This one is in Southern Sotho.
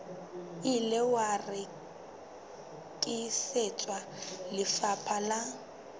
ile wa rekisetswa lefapha la